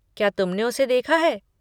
क्या तुमने उसे देखा है?